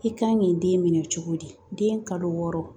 I kan k'i den minɛ cogo di den kalo wɔɔrɔ